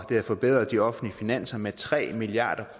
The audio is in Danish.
havde forbedret de offentlige finanser med tre milliard